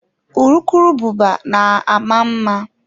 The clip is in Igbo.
Urukurubụba na-ama mma.